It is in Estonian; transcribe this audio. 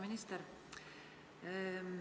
Minister!